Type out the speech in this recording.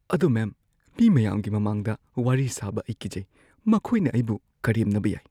ꯑꯗꯣ ꯃꯦꯝ, ꯃꯤ ꯃꯌꯥꯝꯒꯤ ꯃꯃꯥꯡꯗ ꯋꯥꯔꯤ ꯁꯥꯕ ꯑꯩ ꯀꯤꯖꯩ꯫ ꯃꯈꯣꯏꯅ ꯑꯩꯕꯨ ꯀꯔꯦꯝꯅꯕ ꯌꯥꯏ꯫